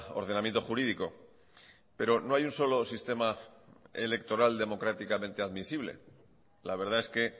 ordenamiento jurídico pero no hay un solo sistema electoral democráticamente admisible la verdad es que